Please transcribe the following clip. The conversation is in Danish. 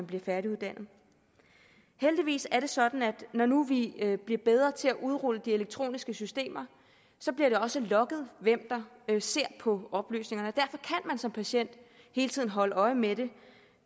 bliver færdiguddannet heldigvis er det sådan at når nu vi bliver bedre til at udrulle de elektroniske systemer så bliver det også logget hvem der ser på oplysningerne og som patient hele tiden holde øje med det